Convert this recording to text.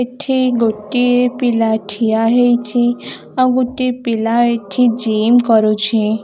ଏଠି ଗୋଟିଏ ପିଲା ଠିଆ ହେଇଛି ଆଉ ଗୋଟିଏ ପିଲା ଏଠି ଜିମ୍‌ କରୁଛି --